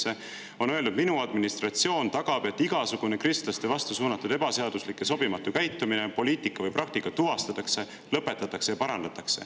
on öelnud: "Minu administratsioon tagab, et igasugune kristlaste vastu suunatud ebaseaduslik ja sobimatu käitumine, poliitika või praktika tuvastatakse, lõpetatakse ja parandatakse.